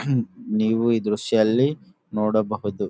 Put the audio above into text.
ಹ್ಮ್ ನೀವು ಈ ದ್ರಶ್ಯ ಅಲ್ಲಿ ನೋಡಬಹುದು--